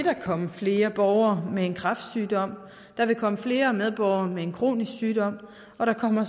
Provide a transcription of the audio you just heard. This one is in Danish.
komme flere borgere med en kræftsygdom der vil komme flere medborgere med en kronisk sygdom og der kommer